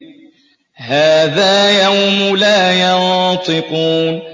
هَٰذَا يَوْمُ لَا يَنطِقُونَ